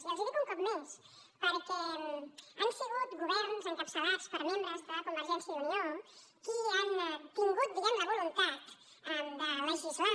i els dic un cop més perquè han sigut governs encapçalats per membres de convergència i unió els que han tingut la voluntat de legislar